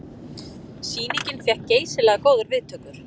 Sýningin fékk geysilega góðar viðtökur